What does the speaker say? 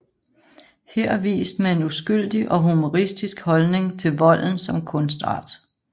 Her vist med en uskyldig og humoristisk holdning til volden som kunstart